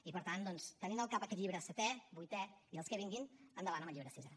i per tant doncs tenint al cap aquest llibre setè vuitè i els que vinguin endavant amb el llibre sisè